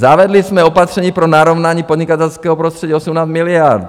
Zavedli jsme opatření pro narovnání podnikatelského prostředí 18 miliard.